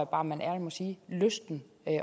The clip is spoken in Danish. bare man ærligt må sige har lysten